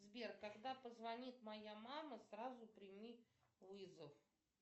сбер когда позвонит моя мама сразу прими вызов